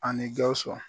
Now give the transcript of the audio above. A ni gawusu